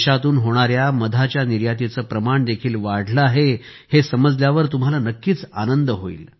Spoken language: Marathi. देशातून होणाऱ्या मधाच्या निर्यातीचे प्रमाण देखील वाढले आहे हे समजल्यावर तुम्हांला नक्कीच आनंद होईल